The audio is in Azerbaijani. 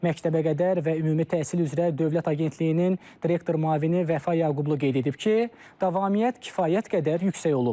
Məktəbəqədər və ümumi təhsil üzrə Dövlət Agentliyinin direktor müavini Vəfa Yaqublu qeyd edib ki, davamiyyət kifayət qədər yüksək olub.